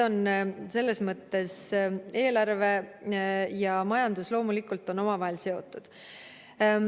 Selles mõttes eelarve ja majandus loomulikult on omavahel seotud.